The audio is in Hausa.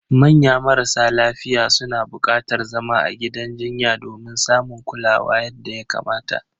Manya marasa lafiya suna bukatar zama a gidan jinya domin samun kulawa yadda ya kamata.